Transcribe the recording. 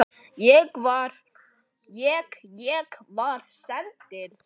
Ég. ég var sendill